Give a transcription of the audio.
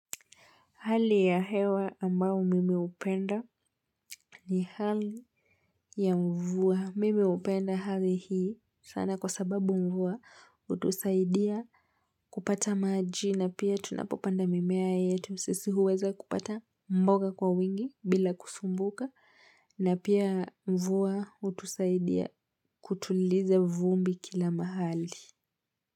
Hali ya hewa ambao mimi upenda ni hali ya mvua. Mimi upenda hali hii sana kwa sababu mvua utusaidia kupata maji na pia tunapopanda mimea yetu. Sisi huweza kupata mboga kwa wingi bila kusumbuka na pia mvua utusaidia kutuliza vumbi kila mahali.